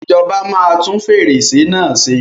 Ìjọba máa tún fèrèsé náà ṣe.